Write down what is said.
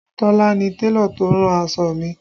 Tola ni Télọ̀ tó rán aṣọ mi